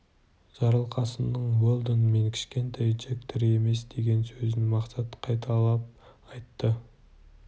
жарылқасынның уэлдон мен кішкентай джек тірі емес деген сөзін мақсат қайталап айтты